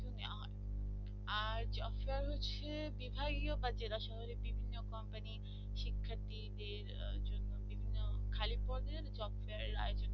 আর job fair হচ্ছে বিধায় ও কাজরা শহরে বিভিন্ন কোম্পানির শিক্ষার্থীদের জন্য বিভিন্ন খালি পদের job fair